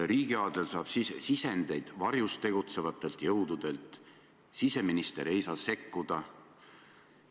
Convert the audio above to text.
Riigiaadel saab sisendeid varjus tegutsevatelt jõududelt, siseminister ei saa sekkuda.